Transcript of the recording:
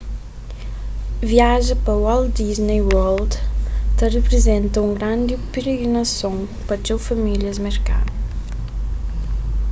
viaja pa walt disney world ta riprizenta un grandi pirigrinason pa txeu famílias merkanu